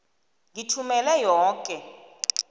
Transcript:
ngithumele yoke